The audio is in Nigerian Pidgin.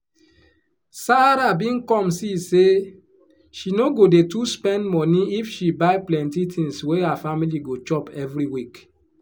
sarah bin come see say she no go dey to spend money if she buy plenty tins wey her family go chop every week